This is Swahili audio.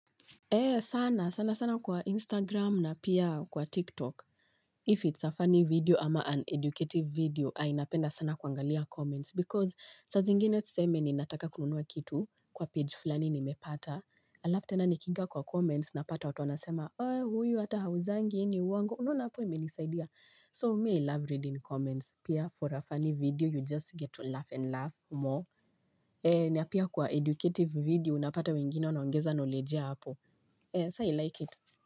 Ee sana, sana sana kwa instagram na pia kwa tiktok If it's a funny video ama an educative video ai napenda sana kuangalia comments Because sa zingine tuseme ni nataka kununua kitu Kwa page fulani nimepata Alafu tena ni kinga kwa comments napata watu wanasema Oe huyu ata hauzangi hii ni uongo unaona hapo imenisaidia So me i love reading comments Pia for a funny video you just get to laugh and laugh more na pia kwa educative video Unapata wengine wanaongeza knowledge yao hapo so i like it.